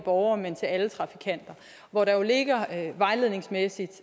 borger men til alle trafikanter hvor der jo ligger vejledningsmæssige